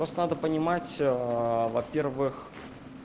просто надо понимать во-первых